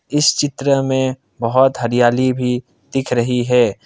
इस चित्र में बहुत हरियाली भी दिख रही है।